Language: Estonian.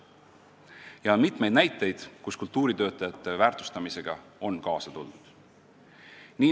Ja on mitmeid näiteid selle kohta, et kultuuritöötajate väärtustamisega on kaasa tuldud.